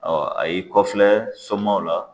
Ɔ a y'i kɔfilɛ somaw la